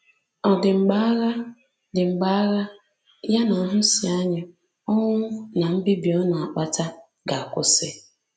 Ọ̀ dị mgbe agha dị mgbe agha — ya na nhụsianya, ọnwụ, na mbibi ọ na-akpata — ga-akwụsị?